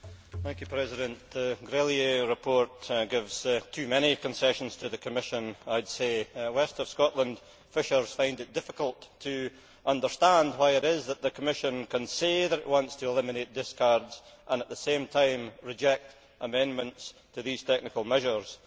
Mr President, the Grelier report gives too many concessions to the Commission, I would say. West of Scotland fishermen find it difficult to understand why it is that the Commission can say that it wants to eliminate discards and at the same time reject amendments to these technical measures.